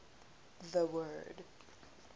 the word